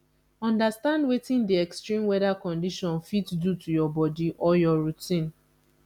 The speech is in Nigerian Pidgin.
understand wetin di extreme weather condition fit do to your body or your routine